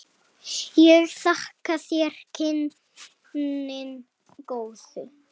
Ég þakka þér kynnin góðu.